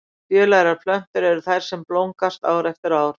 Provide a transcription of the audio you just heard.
Fjölærar plöntur eru þær sem blómgast ár eftir ár.